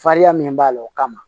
Farinya min b'a la o kama